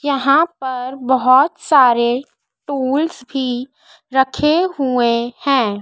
यहां पर बहुत सारे टूल्स की रखे हुए हैं।